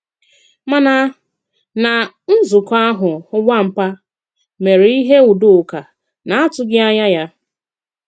Màna na nzụ̀kọ̀ ahụ̀ Nwàpà mèré ihe Udòkà na-àtụ̀ghi ànyà ya.